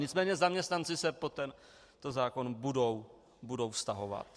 Nicméně zaměstnanci se pod tento zákon budou vztahovat.